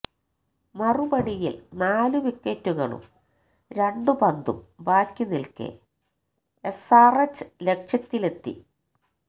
മറുപടിയില് നാലു വിക്കറ്റുകളും രണ്ടു പന്തും ബാക്കിനില്ക്കെ എസ്ആര്എച്ച് ലക്ഷ്യത്തിലെത്തി